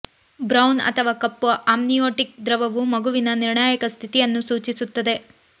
brown ಅಥವಾ ಕಪ್ಪು amniotic ದ್ರವವು ಮಗುವಿನ ನಿರ್ಣಾಯಕ ಸ್ಥಿತಿಯನ್ನು ಸೂಚಿಸುತ್ತದೆ